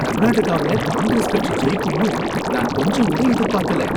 கர்நாடகாவுல காங்கிரஸ் கட்சி ஜெயிக்கும்னு நான் கொஞ்சங்கூட எதிர்பாக்கல.